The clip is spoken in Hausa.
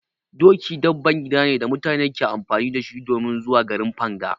Doki dabban gida ne da mutum ke amfani da shi domin zuwa garin Fanga.